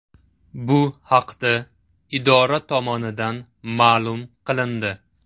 Bu haqda idora tomonidan ma’lum qilindi .